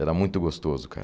Era muito gostoso, cara.